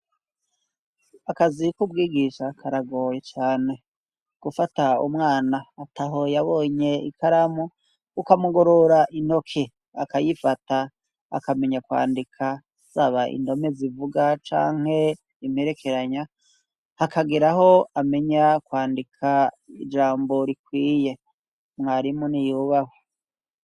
Akazi k'ubwigisha karagoye cane gufata umwana ataho yabonye ikaramu ukamugorora intoke akayifata akamenya kwandika zaba indome zivuga canke imperekeranya hakagera aho amenya kwandika ijambo rikwiye mwarimu ni gubahwe.